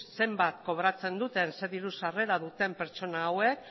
zenbat kobratzen duten zein diru sarrera duten pertsona hauek